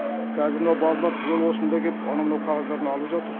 қазір мынау балалар түгел осында келіп анау мынау қағаздарын алып жатыр